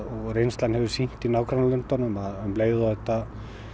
reynslan hefur sýnt í nágrannalöndunum að um leið og þetta